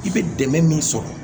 I bɛ dɛmɛ min sɔrɔ